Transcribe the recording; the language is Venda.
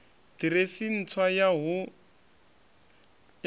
ḓiresi ntswa ya hu ne